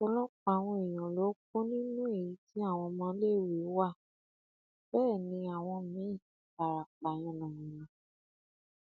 ọpọlọpọ àwọn èèyàn ló kú nínú èyí tí àwọn ọmọléèwé wa bẹ ni àwọn míì fara pa yànnà yànàá